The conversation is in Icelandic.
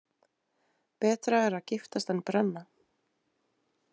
Betra er að giftast en brenna.